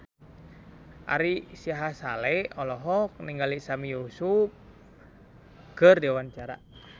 Ari Sihasale olohok ningali Sami Yusuf keur diwawancara